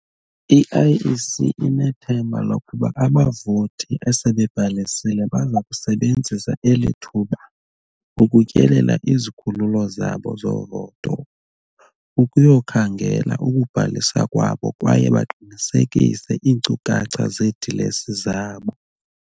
I-IEC inethemba lokuba abavoti asebebhalisile baza kusebenzisa eli thuba ukutyelela izikhululo zabo zovoto ukuyokukhangela ukubhaliswa kwabo kwaye baqinisekise iinkcukacha zeedilesi zabo.